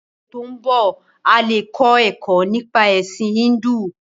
Ní ọ̀sẹ to nbọ, a le kọ ẹkọ nípa Ẹ̀sin Híndù.